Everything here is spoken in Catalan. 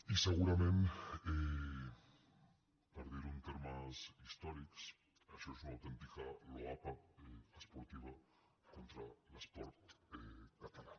i segurament per dir·ho en termes his·tòrics això és una autèntica loapa esportiva contra l’esport català